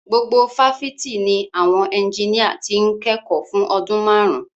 Gbogbo fáfitì ni àwọn ẹnjiníà ti ń kẹ́kọ̀ọ́ fún ọdún márùn-ún.